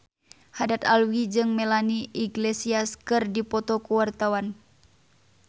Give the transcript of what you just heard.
Haddad Alwi jeung Melanie Iglesias keur dipoto ku wartawan